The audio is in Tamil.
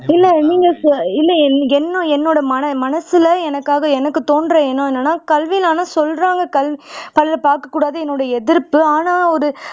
இல்ல நீங்க இல்ல என்ன என்னோட மன மனசுல எனக்காக எனக்கு தோணுற எண்ணம் என்னன்னா கல்வினா சொல்றாங்க பாக்கக்கூடாது என்னோட எதிர்ப்பு ஆனா ஒரு